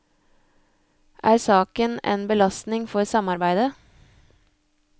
Er saken en belastning for samarbeidet?